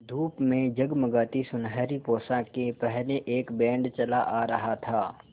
धूप में जगमगाती सुनहरी पोशाकें पहने एक बैंड चला आ रहा था